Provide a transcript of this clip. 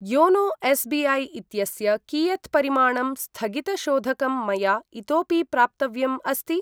YONO SBI. इत्यस्य कियत् परिमाणं स्थगितशोधकं मया इतोऽपि प्राप्तव्यम् अस्ति?